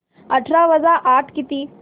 अठरा वजा आठ किती